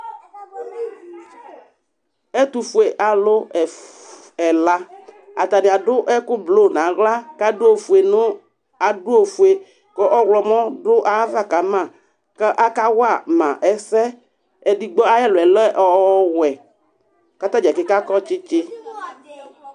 Ɛtʋfuealʋ ɛfʋ ɛla Atanɩ adʋ ɛkʋ blo nʋ aɣla kʋ adʋ ofue nʋ adʋ ofue kʋ ɔɣlɔmɔ dʋ ayava ka ma kʋ akawa ma ɛsɛ Edigbo ayʋ ɛlʋ yɛ lɛ ɔ ɔwɛ kʋ ata dza keke akɔ tsɩtsɩ